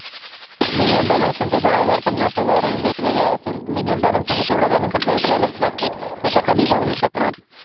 Minimum balance त्यांचा दहा हजार, पन्नास हजार and वेगवेगळा असेल. minimum balance म्हणजे तेवढा balance आपल्याला ठेवायलाच लागतो. त्याच्या खाली जाऊ नाही शकणार.